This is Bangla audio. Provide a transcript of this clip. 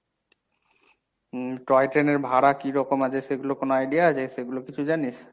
উম toy train এর ভাড়া কী রকম আছে সেগুলো কোনো idea আছে সেগুলো কিছু জানিস?